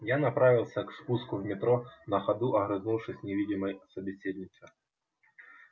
я направился к спуску в метро на ходу огрызнувшись невидимой собеседница